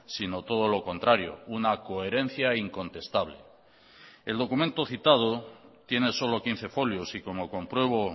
sino todo lo contrario una coherencia incontestable el documento citado tiene solo quince folios y como compruebo